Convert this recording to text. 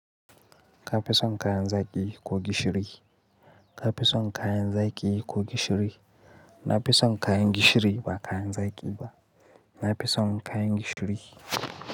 Ka fi son kayan zaki ko gishiri. Ka peso kayan zaki ko gishiri. Na fi son kayan gishiri ba kayan zaki ba. Na peso kayan gishiri.